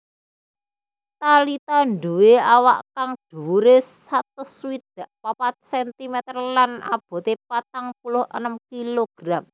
Thalita nduwé awak kang dhuwuré satus swidak papat centimeter lan aboté patang puluh enem kilogram